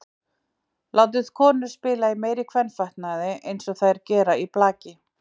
Látið konur spila í meiri kvenfatnaði eins og þær gera í blaki.